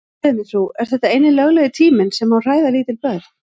Segðu mér frú, er þetta eini löglegi tíminn sem má hræða lítil börn?